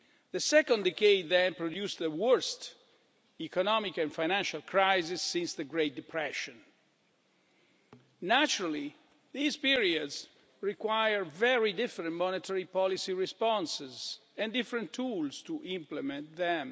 The second decade then produced the worst economic and financial crisis since the Great Depression. Naturally, these periods required very different monetary policy responses and different tools to implement them.